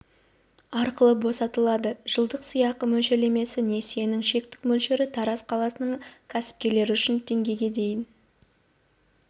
арқылы босатылады жылдық сыйақы мөлшерлемесі несиенің шектік мөлшері тараз қаласының кәсіпкерлері үшін теңгеге дейін